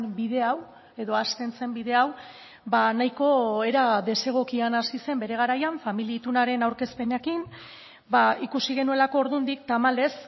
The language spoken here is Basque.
bide hau edo hasten zen bide hau nahiko era desegokian hasi zen bere garaian familia itunaren aurkezpenekin ikusi genuelako ordundik tamalez